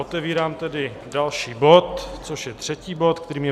Otevírám tedy další bod, což je třetí bod, kterým je